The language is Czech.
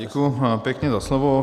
Děkuji pěkně za slovo.